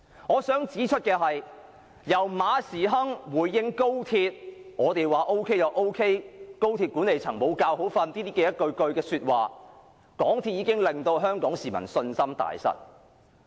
我想指出，由馬時亨回應高鐵問題時說"我們說 OK 便 OK" 及"高鐵管理層無覺好瞓"等說話，已令香港市民對港鐵公司信心大失。